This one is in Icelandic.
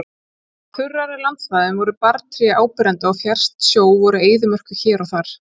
Á þurrari landsvæðum voru barrtré áberandi og fjærst sjó voru eyðimerkur hér og þar.